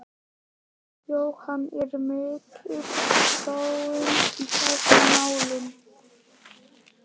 Jóhann, er mikil þróun í þessum málum?